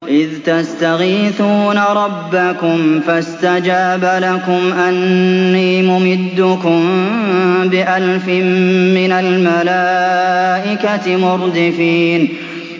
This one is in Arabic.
إِذْ تَسْتَغِيثُونَ رَبَّكُمْ فَاسْتَجَابَ لَكُمْ أَنِّي مُمِدُّكُم بِأَلْفٍ مِّنَ الْمَلَائِكَةِ مُرْدِفِينَ